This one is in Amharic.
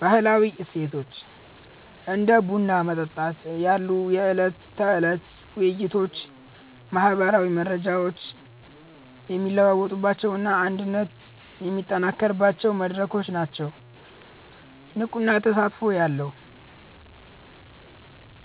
ባህላዊ እሴቶች፦ እንደ ቡና መጠጣት ያሉ የዕለት ተዕለት ውይይቶች ማህበራዊ መረጃዎች የሚለዋወጡባቸውና አንድነት የሚጠናከርባቸው መድረኮች ናቸው። ንቁና ተስፋ ያለው፦